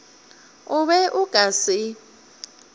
o be o ka se